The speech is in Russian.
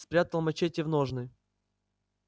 спрятал мачете в ножны